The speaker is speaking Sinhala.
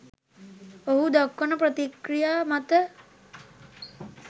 ඔහු දක්වන ප්‍රතික්‍රියා මත